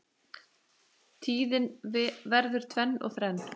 Tíðin verður tvenn og þrenn